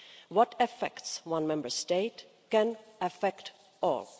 What affects one Member State can affect all.